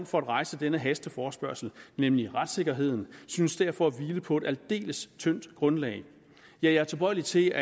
for at rejse denne hasteforespørgsel nemlig retssikkerheden synes derfor at hvile på et aldeles tyndt grundlag ja jeg er tilbøjelig til